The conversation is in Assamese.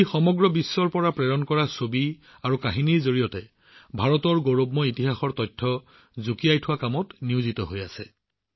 ই সমগ্ৰ বিশ্বৰ পৰা প্ৰেৰণ কৰা ছবি আৰু কাহিনীৰ জৰিয়তে ভাৰতৰ গৌৰৱময় ইতিহাসৰ সংযোজিত কৰাত নিয়োজিত হৈ আছে